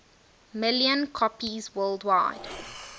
million copies worldwide